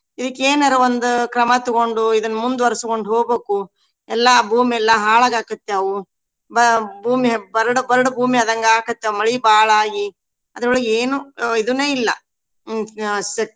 ಇದಕ್ಕೇನರಾ ಒಂದ್ ಕ್ರಮಾ ತುಗೊಂಡು ಇದನ್ ಮುಂದವರ್ಸಕೊಂಡ್ ಹೋಗ್ಬೇಕು. ಎಲ್ಲಾ ಭೂಮಿ ಎಲ್ಲಾ ಹಾಳ್ ಆಗಾಕತ್ಯಾವು ಬ~ ಭೂಮಿ ಬರಡ್ ಬರಡ್ ಭೂಮಿ ಆದಂಗ್ ಆಗಾಕತ್ಯಾವ. ಮಳಿ ಬಾಳಾಗಿ ಅದ್ರೋಳಗ್ ಏನು ಅಹ್ ಇದುನೂ ಇಲ್ಲಾ ಹ್ಮ್ ಅಹ್.